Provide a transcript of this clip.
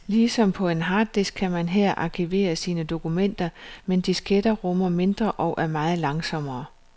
Ligesom på en harddisk kan man her arkivere sine dokumenter, men disketter rummer mindre og er meget langsommere.